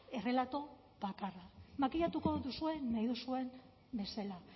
errelato bakarra makillatuko duzue nahi duzuen bezala